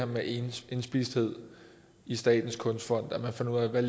med indspisthed i statens kunstfond og fandt ud af hvad